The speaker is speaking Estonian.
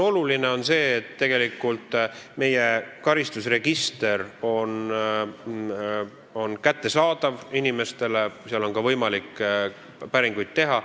Oluline on see, et tegelikult meie karistusregister on inimestele kättesaadav, seal on võimalik päringuid teha.